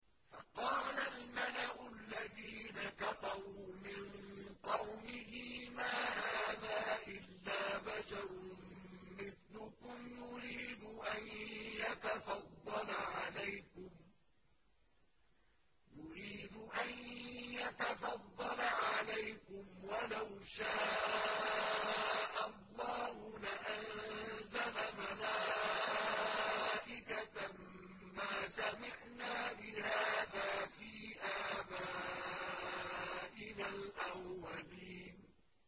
فَقَالَ الْمَلَأُ الَّذِينَ كَفَرُوا مِن قَوْمِهِ مَا هَٰذَا إِلَّا بَشَرٌ مِّثْلُكُمْ يُرِيدُ أَن يَتَفَضَّلَ عَلَيْكُمْ وَلَوْ شَاءَ اللَّهُ لَأَنزَلَ مَلَائِكَةً مَّا سَمِعْنَا بِهَٰذَا فِي آبَائِنَا الْأَوَّلِينَ